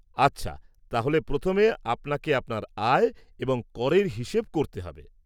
আচ্ছা, তাহলে প্রথমে আপনাকে আপনার আয় এবং করের হিসেব করতে হবে।